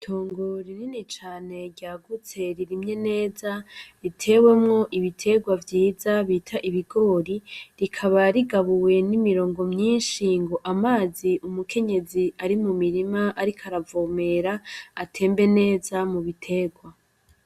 Itongo rinini cane ryagutse, ririmye neza. Ritewemwo ibiterwa vyiza bita ibigori, rikaba rigabuwe n'imirongo myinshi ngo amazi umukenyezi ari mu mirima ariko aravomera, atembee neza mu biterwa.